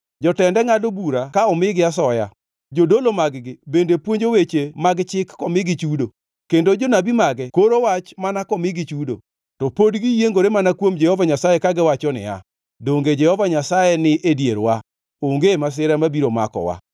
Jotende ngʼado bura ka omigi asoya. Jodolo mag-gi bende puonjo weche mag chik komigi chudo, kendo jonabi mage koro wach mana komigi chudo. To pod giyiengore mana kuom Jehova Nyasaye kagiwacho niya, “Donge Jehova Nyasaye ni e dierwa, onge masira mabiro makowa.”